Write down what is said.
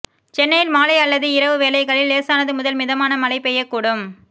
சென்னையில் மாலை அல்லது இரவு வேளைகளில் லேசானது முதல் மிதமான மழை பெய்யக் கூடும்